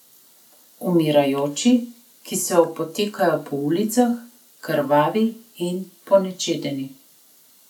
Umirajoči, ki se opotekajo po ulicah, krvavi in ponečedeni.